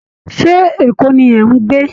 Ṣé Èkó ni ẹ̀ ń gbe